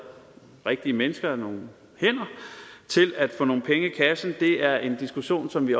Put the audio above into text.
rigtige mennesker nogle hænder til at få nogle penge i kassen er en diskussion som vi